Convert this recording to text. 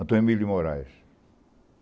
Antônio Emílio de Moraes.